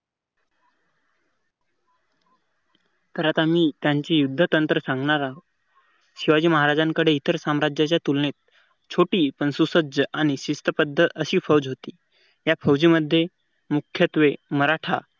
तर आता मी त्यांची युद्ध तंत्र सांगणार आहो शिवाजी महाराजांकडे इतर साम्राज्याच्या तुलनेत छोटी आणि संशोध सुसज्ज आणि शिस्तबद्ध अशी फौज होती या फौजी मध्ये मुख्यत्वे मराठा